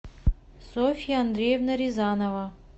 софья андреевна рязанова